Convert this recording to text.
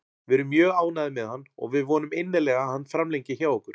Við erum mjög ánægðir með hann og við vonum innilega að hann framlengi hjá okkur.